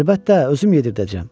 Əlbəttə, özüm yedirdəcəm.